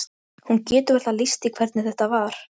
Hún getur varla lýst því hvernig þetta var.